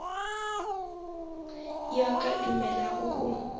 yo a ka dumelago go